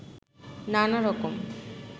নানা রকম